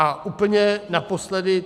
A úplně naposledy.